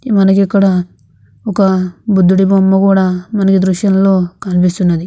మనకిక్కడ ఒక బుద్ధుడి బొమ్మ కూడా మనకీ దృశ్యంలో కనిపిస్తున్నది.